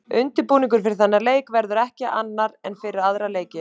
Undirbúningurinn fyrir þennan leik verður ekki annar en fyrir aðra leiki.